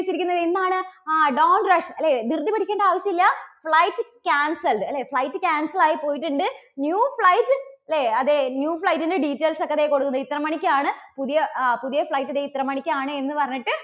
ആ don't rush അല്ലേ? ധൃതി പിടിക്കണ്ട ആവശ്യമില്ല. flight cancelled അല്ലേ? flight cancel ആയി പോയിട്ടുണ്ട്. new flight ഇല്ലേ അതെ new flight ന്റെ details ഒക്കെ ഇതാ കൊടുക്കുന്നുണ്ട്. ഇത്ര മണിക്കാണ് പുതിയ ആ പുതിയ flight ദേ ഇത്ര മണിക്കാണ് എന്ന് പറഞ്ഞിട്ട്